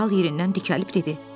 Dərhal yerindən dikəlib dedi.